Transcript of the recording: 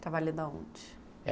Trabalhando aonde?